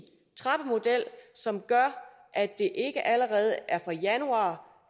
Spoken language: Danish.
trappemodel som gør at det ikke allerede er fra januar